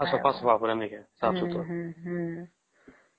ଆଉ ସଫା ସଫା ପୁରା ନାଇଁ କି ସାଫ ସୁତୁରା